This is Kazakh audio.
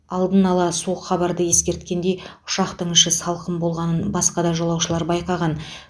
алдын ала суық хабарды ескерткендей ұшақтың іші салқын болғанын басқа да жолаушылар байқаған